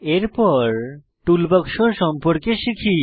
এরপর টুলবাক্স সম্পর্কে শিখি